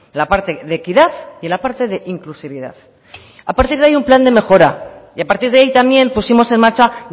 la parte de equidad y la parte de inclusividad a partir de ahí un plan de mejora y a partir de ahí también pusimos en marcha